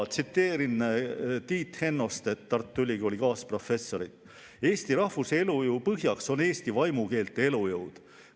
Tsiteerin Tiit Hennostet, Tartu Ülikooli kaasprofessorit: "Eesti rahvuse elujõu põhjaks on eesti vaimukeelte elujõud.